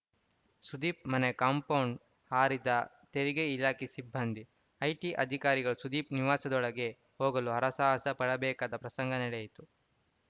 ಸುದೀಪ್‌ ಮನೆ ಕಾಂಪೌಂಡ್‌ ಹಾರಿದ ತೆರಿಗೆ ಇಲಾಖೆ ಸಿಬ್ಬಂದಿ ಐಟಿ ಅಧಿಕಾರಿಗಳು ಸುದೀಪ್‌ ನಿವಾಸದೊಳಗೆ ಹೋಗಲು ಹರಸಾಹಸ ಪಡಬೇಕಾದ ಪ್ರಸಂಗ ನಡೆಯಿತು